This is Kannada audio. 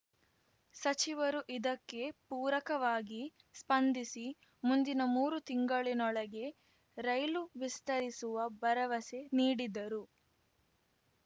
ಸಚಿವರು ಇದಕ್ಕೆ ಪೂರಕವಾಗಿ ಸ್ಪಂದಿಸಿ ಮುಂದಿನ ಮೂರು ತಿಂಗಳಿನೊಳಗೆ ರೈಲು ವಿಸ್ತರಿಸುವ ಭರವಸೆ ನೀಡಿದ್ದರು